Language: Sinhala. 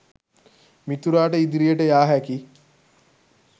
මිතුරාට ඉදිරියට යා හැකි